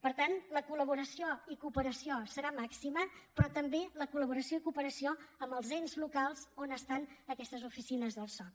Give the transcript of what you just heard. per tant la col·laboració i cooperació serà màxima però també la col·laboració i cooperació amb els ens locals on estan aquestes oficines del soc